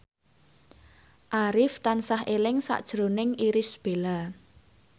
Arif tansah eling sakjroning Irish Bella